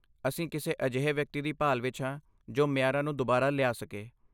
ਅਸੀਂ ਕਿਸੇ ਅਜਿਹੇ ਵਿਅਕਤੀ ਦੀ ਭਾਲ ਵਿੱਚ ਹਾਂ ਜੋ ਮਿਆਰਾਂ ਨੂੰ ਦੁਬਾਰਾ ਲਿਆ ਸਕੇ।